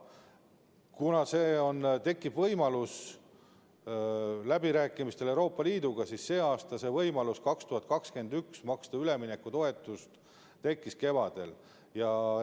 Kuna selleks tekib võimalus läbirääkimistel Euroopa Liiduga, siis võimalus aastal 2021 maksta üleminekutoetust tekkis selle aasta kevadel.